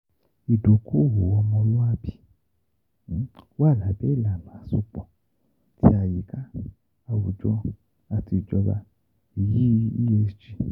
Idoko-owo omoluabi wa labẹ ilana asopo ti Ayika, Awujọ, ati Ijọba